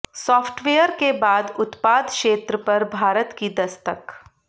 software के बाद उत्पाद क्षेत्र पर भारत की दस्तक